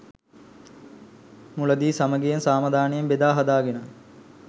මුලදී සමඟියෙන් සමාදානයෙන් බෙදා හදාගෙන